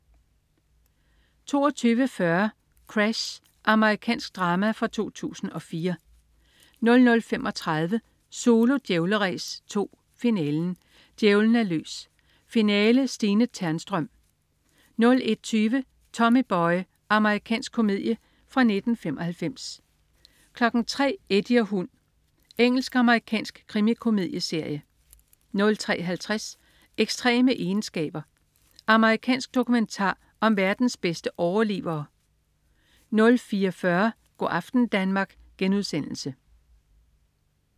22.40 Crash. Amerikansk drama fra 2004 00.35 Zulu Djævleræs 2: Finalen. Djævlen er løs. Finale. Stine Ternstrøm 01.20 Tommy Boy. Amerikansk komedie fra 1995 03.00 Eddie og hund. Engelsk-amerikansk krimikomedieserie 03.50 Ekstreme egenskaber. Amerikansk dokumentar om verdens bedste overlevere 04.40 Go' aften Danmark*